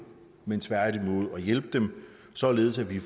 men tværtimod at hjælpe dem således at vi